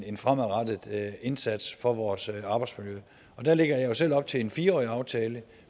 en fremadrettet indsats for vores arbejdsmiljø og der lægger jeg jo selv op til en fire årig aftale